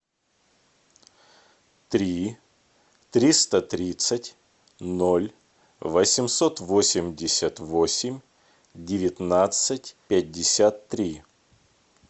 три триста тридцать ноль восемьсот восемьдесят восемь девятнадцать пятьдесят три